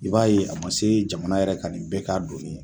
I b'a ye a ma se jamana yɛrɛ ka nin bɛɛ k'a doni ye.